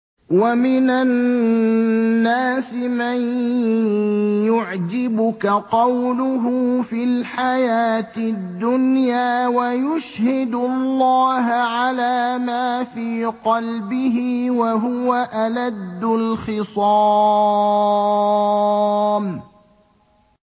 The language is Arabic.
وَمِنَ النَّاسِ مَن يُعْجِبُكَ قَوْلُهُ فِي الْحَيَاةِ الدُّنْيَا وَيُشْهِدُ اللَّهَ عَلَىٰ مَا فِي قَلْبِهِ وَهُوَ أَلَدُّ الْخِصَامِ